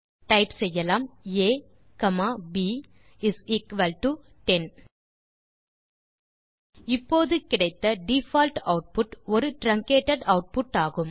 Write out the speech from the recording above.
type செய்யலாம் a comma b is equal to 10 இப்போது கிடைத்த டிஃபால்ட் ஆட்புட் ஒரு ட்ரன்கேட்டட் ஆட்புட் ஆகும்